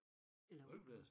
Folkebladet?